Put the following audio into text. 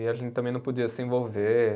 E a gente também não podia se envolver.